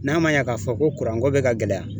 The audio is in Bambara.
N'a ma ɲɛ k'a fɔ ko ko bɛ ka gɛlɛya